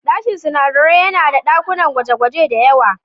Sashen sunadarai yana da dakunan gwaje-gwaje da yawa